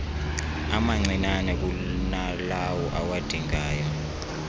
amancinnane kunalawo awadingayo